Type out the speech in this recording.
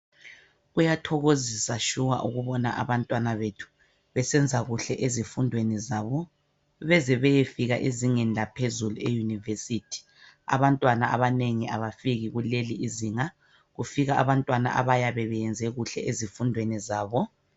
Kuyathokozisa shuwa ukubona abantwana bethu besenza kuhle ezifundweni zabo beze beyefika ezingeni laphezulu eyunivesithi. Abantwana abanengi abafiki kuleli izinga, kufika abantwana abayabe beyenze kuhle ezifundweni zabo.